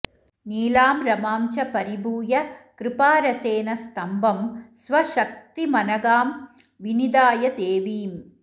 नीलां रमां च परिभूय कृपारसेन स्तम्भं स्वशक्तिमनघां विनिधाय देवीम्